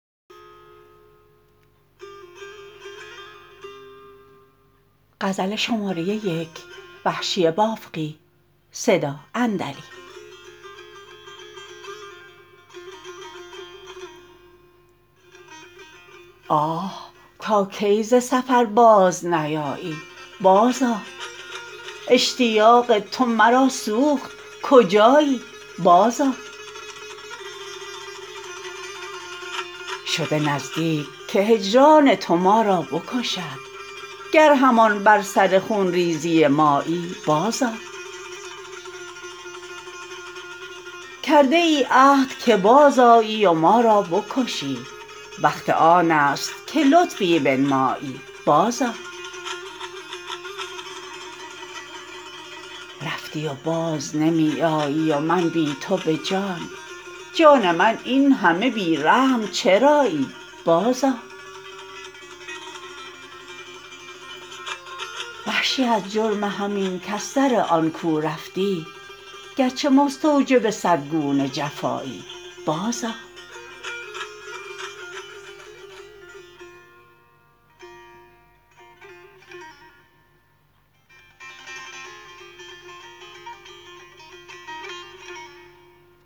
آه تا کی ز سفر باز نیایی بازآ اشتیاق تو مرا سوخت کجایی بازآ شده نزدیک که هجران تو ما را بکشد گر همان بر سر خونریزی مایی بازآ کرده ای عهد که بازآیی و ما را بکشی وقت آنست که لطفی بنمایی بازآ رفتی و باز نمی آیی و من بی تو به جان جان من اینهمه بی رحم چرایی بازآ وحشی از جرم همین کز سر آن کو رفتی گرچه مستوجب صد گونه جفایی بازآ